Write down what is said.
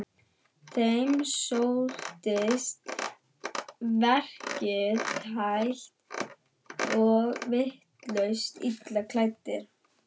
Þeim sóttist verkið hægt og virtust illa klæddir.